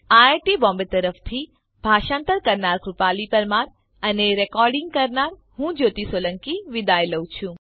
IIT Bombay તરફથી ભાષાંતર કરનાર હું કૃપાલી પરમાર વિદાય લઉં છું